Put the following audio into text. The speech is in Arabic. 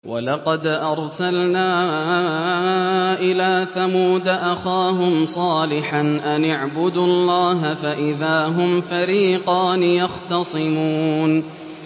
وَلَقَدْ أَرْسَلْنَا إِلَىٰ ثَمُودَ أَخَاهُمْ صَالِحًا أَنِ اعْبُدُوا اللَّهَ فَإِذَا هُمْ فَرِيقَانِ يَخْتَصِمُونَ